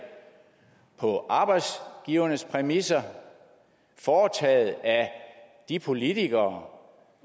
på arbejdsgivernes præmisser foretaget af de politikere